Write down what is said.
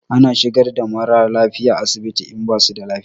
Ana shigar da mara lafiya asibiti in basu da lafiya.